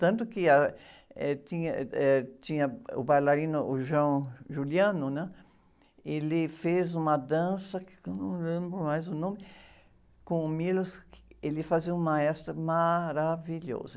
Tanto que, ah, eh, tinha, eh, eh, tinha, o bailarino, o, né? Ele fez uma dança, não lembro mais o nome, com o, ele fazia um maestro maravilhoso.